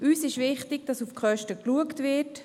Es ist uns wichtig, dass auf die Kosten geschaut wird.